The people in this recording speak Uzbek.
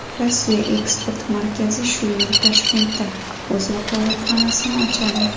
Rossiya eksport markazi shu yil Toshkentda o‘z vakolatxonasini ochadi.